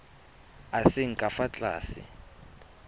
a seng ka fa tlase